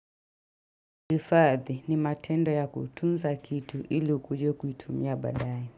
Ifadhi ni matendo ya kutunza kitu ili ukuje kuitumia baadaye.